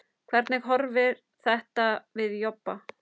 Hvernig horfir þetta við Jobba?